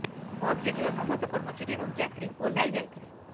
ବସରେ ଥିବା ସମସ୍ତ କର୍ମଚାରୀ ଏବଂ ଯାତ୍ରୀ ଓହ୍ଲାଇ ଯାଇଥଲେ